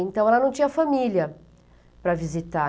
Então, ela não tinha família para visitar.